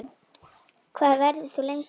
Hvað verður þú lengi?